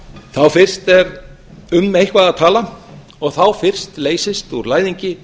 þá fyrst er um eitthvað að tala og þá fyrst leysist úr læðingi